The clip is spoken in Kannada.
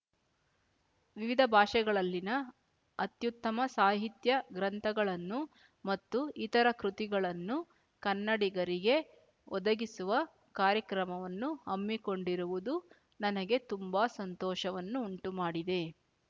ವಿವಿಧ ಭಾಷೆಗಳಲ್ಲಿನ ಅತ್ಯುತ್ತಮ ಸಾಹಿತ್ಯ ಗ್ರಂಥಗಳನ್ನು ಮತ್ತು ಇತರ ಕೃತಿಗಳನ್ನು ಕನ್ನಡಿಗರಿಗೆ ಒದಗಿಸುವ ಕಾರ್ಯಕ್ರಮವನ್ನು ಹಮ್ಮಿಕೊಂಡಿರುವುದು ನನಗೆ ತುಂಬಾ ಸಂತೋಷವನ್ನು ಉಂಟುಮಾಡಿದೆ